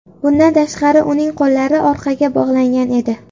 Bundan tashqari uning qo‘llari orqaga bog‘langan edi.